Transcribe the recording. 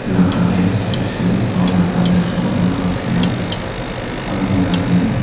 thlalak ah hian step sen hnuailam panna chu alo lang thei a a vel ah hian--